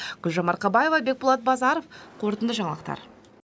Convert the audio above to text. гүлжан марқабаева бекболат базаров қорытынды жаңалықтар